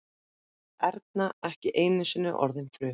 Erna ekki einusinni orðin fruma.